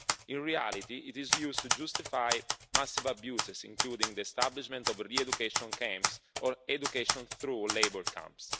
In reality, it is used to justify massive abuses, including the establishment of re education camps or education through labour' camps.